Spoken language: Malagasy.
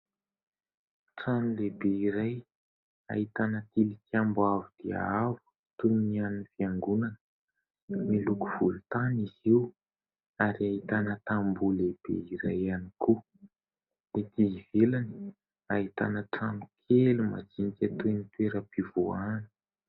Trano lehibe iray ahitana tilikambo avo dia avo toy ny an'ny fiangonana miloko volontany izy io ary ahitana tamboho lehibe iray ihany koa. Etỳ ivelany ahitana trano kely majinika toy ny toeram-pivoahana.